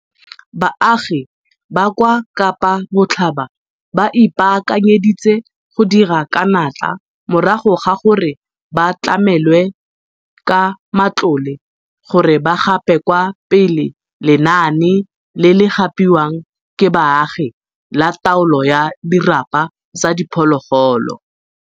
Baagi ba kwa Kapa Botlhaba ba ipaakanyeditse go dira ka natla morago ga gore ba tlamelwe ka matlole gore ba gape kwa pele lenaane le le gapiwang ke baagi la taolo ya dirapa tsa diphologolo.